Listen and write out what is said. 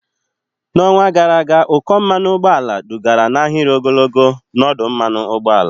N'ọnwa gara aga, ụkọ mmanụ ụgbọala dugara n'ahịrị ogologo n'ọdụ mmanụ ụgbọala.